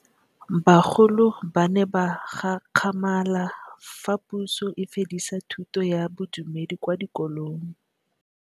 Bagolo ba ne ba gakgamala fa Pusô e fedisa thutô ya Bodumedi kwa dikolong.